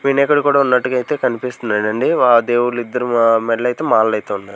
వినాయకుడు కుడా ఉన్నట్లుగా ఐతే కన్పిస్తున్నాడండి ఆ దేవుడ్లిద్దరూ ఆ మెడలో అయితే మాలలైతే ఉన్నాయ్.